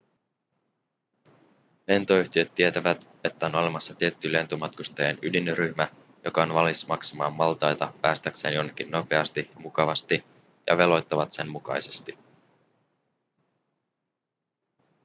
lentoyhtiöt tietävät että on olemassa tietty lentomatkustajien ydinryhmä joka on valmis maksamaan maltaita päästäkseen jonnekin nopeasti ja mukavasti ja veloittavat sen mukaisesti